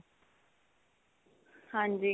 ਹਾਂਜੀ